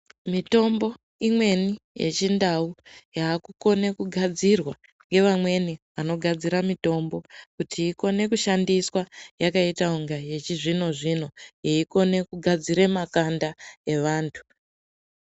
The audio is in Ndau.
Mitombo imweni yechindau yaakukone kugadzirwa ngevamweni vanogadzira mitombo kuti ikone kushandiswa yakaita kunga yechizvino-zvino yeikone kugadzire makanda evantu.